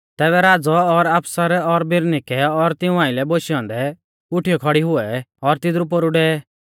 तैबै राज़ौ और आफसर और बिरनीके और तिऊं आइलै बोशै औन्दै उठीयौ खौड़ी हुऐ और तिदरु पोरु डेवै